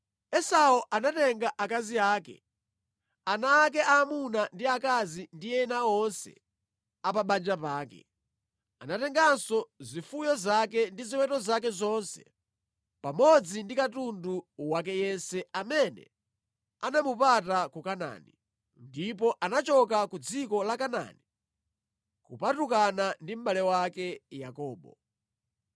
Esau anatenga akazi ake, ana ake aamuna ndi aakazi ndi ena onse a pa banja pake. Anatenganso ziweto zake ndi ziweto zake zonse pamodzi ndi katundu wake yense amene anamupata ku Kanaani, ndipo anachoka ku dziko la Kanaani kupatukana ndi mʼbale wake Yakobo.